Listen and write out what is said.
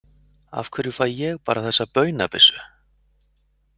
Af hverju fæ ég bara þessa baunabyssu?